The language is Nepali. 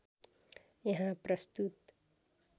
यहाँ प्रस्तुत